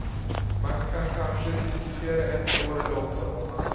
Man kan kanske diskutera ett år eller åtta månader.